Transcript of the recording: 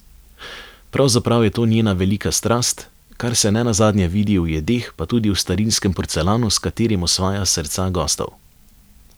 Pravzaprav je to njena velika strast, kar se ne nazadnje vidi v jedeh pa tudi v starinskem porcelanu, s katerim osvaja srca gostov.